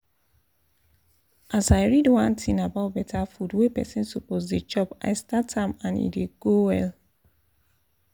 as i read one thing about better food wey person suppose dey chop i start am and e dey go well